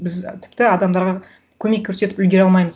біз тіпті адамдарға көмек көрсетіп үлгере алмаймыз